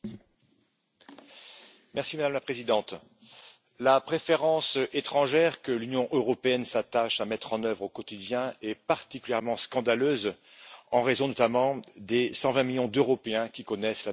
Madame la Présidente, la préférence étrangère que l'Union européenne s'attache à mettre en œuvre au quotidien est particulièrement scandaleuse en raison notamment des 120 millions d'Européens qui connaissent la misère au quotidien.